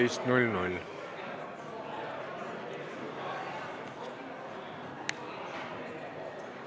Istungi lõpp kell 15.13.